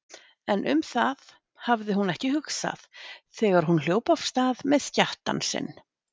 En um það hafði hún ekki hugsað þegar hún hljóp af stað með skjattann sinn.